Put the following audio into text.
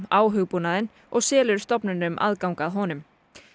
á hugbúnaðinn og selur stofnunum aðgang að honum